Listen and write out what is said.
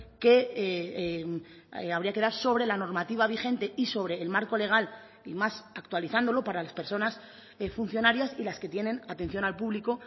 que habría que dar sobre la normativa vigente y sobre el marco legal y más actualizándolo para las personas funcionarias y las que tienen atención al público